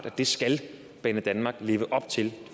at det skal banedanmark leve op til det